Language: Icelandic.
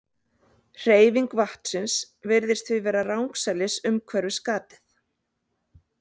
Hreyfing vatnsins virðist því vera rangsælis umhverfis gatið.